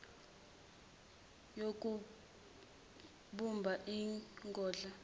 yokubumba ingodla yehlelo